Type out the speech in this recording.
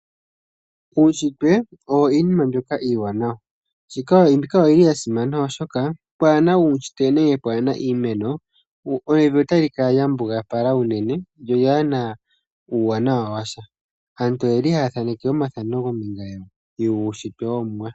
Uushitwe oyo iinima mbyoka iiwanawa. Mbika oyili ya simana oshoka pwaana uushitwe nenge pwaana iimeno evi otali kala lya mbugalapala uunene lyo lyaana uuwanawa washa. Aantu oyeli haya ningi omathano kombinga yuushitwe wOmuwa.